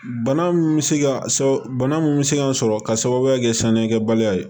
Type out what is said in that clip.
Bana mun bɛ se ka bana mun bɛ se ka sɔrɔ ka sababuya kɛ sanuyakɛbaliya ye